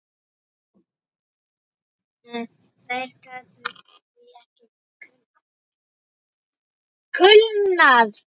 Þær geta því ekki kulnað.